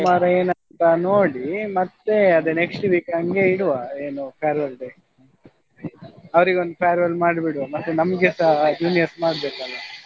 ಎನಂತ ನೋಡಿ ಮತ್ತೆ ಅದು next week ಹಂಗೆ ಇಡುವಾ ಏನು farewell day ಅವ್ರಿಗೊಂದು farewell ಮಾಡಿ ಬಿಡುವ ಮತ್ತೆ ನಮ್ಗೆಸ juniors ಮಾಡ್ಬೇಕಲ್ವ?